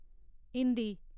Hindi